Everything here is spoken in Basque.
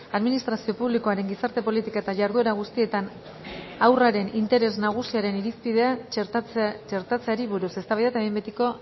administrazio publikoaren gizarte politika eta jarduera guztietan haurraren interes nagusiaren irizpidea txertatzeari buruz eztabaida eta behin betiko